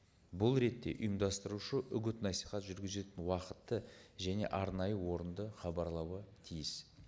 бұл ретте ұйымдастырушы үгіт насихат жүргізетін уақытты және арнайы орынды хабарлауы тиіс